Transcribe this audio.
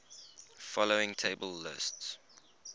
following table lists